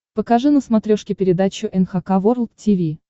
покажи на смотрешке передачу эн эйч кей волд ти ви